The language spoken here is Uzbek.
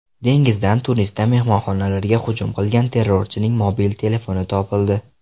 Dengizdan Tunisda mehmonxonalarga hujum qilgan terrorchining mobil telefoni topildi.